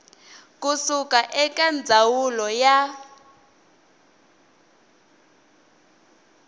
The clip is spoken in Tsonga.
ku suka eka ndzawulo ya